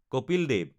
Kapil Dev